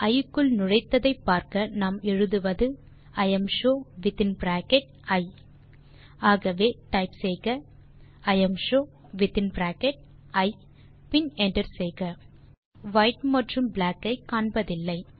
இ க்குள் நுழைத்ததை பார்க்க நாம் எழுதுவது இம்ஷோ வித்தின் பிராக்கெட் இ ஆகவே டைப் செய்க இம்ஷோ வித்தின் பிராக்கெட் இ பின் என்டர் செய்க நாம் வைட் மற்றும் பிளாக் ஐ காண்பதில்லை